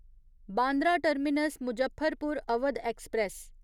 Bandra terminus Muzaffarpur Awadh express